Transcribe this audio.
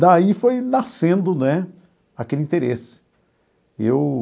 Daí foi nascendo né aquele interesse eu.